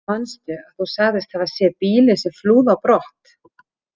Manstu að þú sagðist hafa séð bílinn sem flúði á brott?